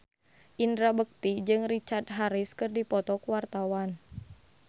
Indra Bekti jeung Richard Harris keur dipoto ku wartawan